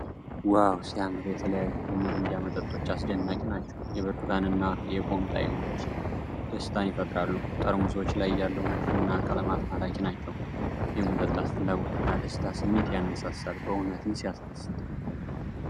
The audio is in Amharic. ዋው ሲያምር! የተለያዩ የ"ሚሪንዳ" መጠጦች አስደናቂ ናቸው። የብርቱካንና የፖም ጣዕሞች ደስታን ይፈጥራሉ። ጠርሙሶቹ ላይ ያለው ንድፍና ቀለማት ማራኪ ናቸው። የመጠጣት ፍላጎትና የደስታ ስሜት ያነሳሳል። በእውነትም ሲያስደስት!